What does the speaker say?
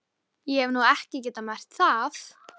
Ég hef nú ekki getað merkt það.